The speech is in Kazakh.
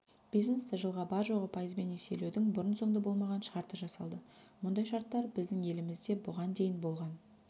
бизнесті жылға бар-жоғы пайызбен несиелеудің бұрын-соңды болмаған шарты жасалды мұндай шарттар біздің елімізде бұған дейін болған